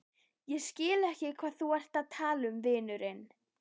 Ég skil ekki hvað þú ert að tala um, vinurinn.